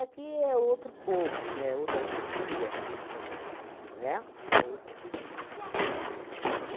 é outro povo, né, outra cultura, o Rio de Janeiro, né? Uhum. Outra cultura.